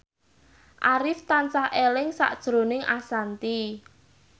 Arif tansah eling sakjroning Ashanti